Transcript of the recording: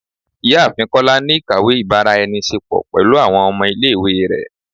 Ìyáàfín kola ni ikáwe ibara-enise-po pẹlu awọn ọmọ ile-iwe rẹ